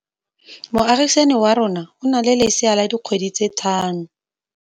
Moagisane wa rona o na le lesea la dikgwedi tse tlhano.